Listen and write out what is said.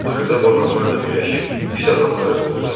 Axırda bu adamlar da birləşib pis adamları qovdular.